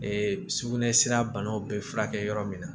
sugunɛ sira banaw bɛ furakɛ yɔrɔ min na